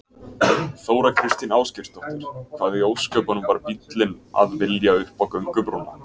Þóra Kristín Ásgeirsdóttir: Hvað í ósköpunum var bíllinn að vilja upp á göngubrúnna?